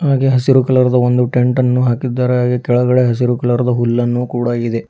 ಹಾಗೆ ಹಸಿರು ಕಲರ್ದು ಒಂದು ಟೆಂಟ ನ್ನು ಹಾಕಿದ್ದಾರೆ ಹಾಗೆ ಕೆಳಗಡೆ ಹಸಿರು ಕಲರ್ದು ಹುಲ್ಲನ್ನು ಕೂಡ ಇದೆ.